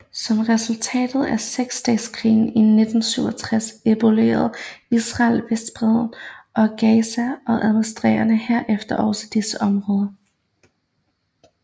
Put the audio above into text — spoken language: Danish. Som resultat af seksdageskrigen i 1967 erobrede Israel Vestbredden og Gaza og administrerede herefter også disse områder